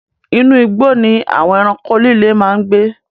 Inú igbó ni àwon ẹranko líle máa ń gbé